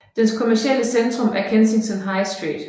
Dens kommercielle centrum er Kensington High Street